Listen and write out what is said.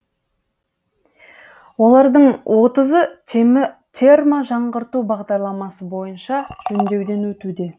олардың отызы терможаңғырту бағдарламасы бойынша жөндеуден өтуде